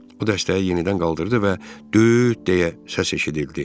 O dəstəyi yenidən qaldırdı və 'düüüt' deyə səs eşidildi.